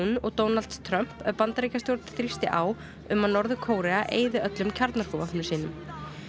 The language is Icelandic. og Donalds Trumps ef Bandaríkjastjórn þrýsti á um að Norður Kórea eyði öllum kjarnorkuvopnum sínum